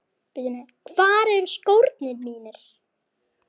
Hvar eru skórnir mínir?